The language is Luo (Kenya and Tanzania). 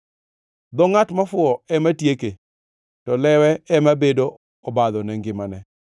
Dho ngʼat mofuwo ema tieke, to lewe ema bedo obadho ne ngimane.